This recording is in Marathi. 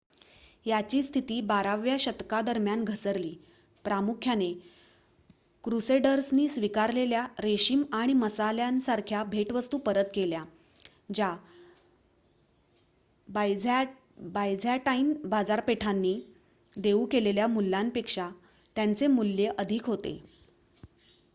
याची स्थिती बाराव्या शतकादरम्यान घसरली प्रामुख्याने क्रूसेडर्सनी स्वीकारलेल्या रेशीम आणि मसाल्यासारख्या भेटवस्तू परत केल्या ज्या बायझँटाईन बाजारपेठांनी देऊ केलेल्या मूल्यापेक्षा त्यांचे मूल्य अधिक होते